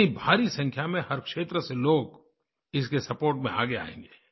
इतनी भारी संख्या में हर क्षेत्र से लोग इसके सपोर्ट में आगे आएँगे